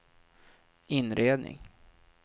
inredning